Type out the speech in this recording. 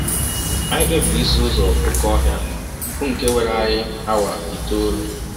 Anyị kpebiri isi ụzọ oké ọhịa, bụ nke were anyị awa itọọlụ.